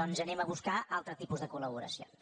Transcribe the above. doncs anem a buscar altres tipus de col·laboracions